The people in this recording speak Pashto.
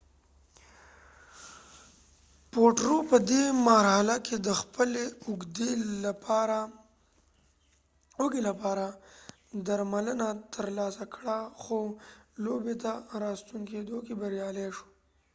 پوټرو په دې مرحله کې د خپلې اوږې لپاره درملنه ترلاسه کړه خو لوبې ته راستون کيدو کې بريالي شو